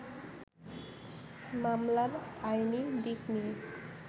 মামলার আইনি দিক নিয়ে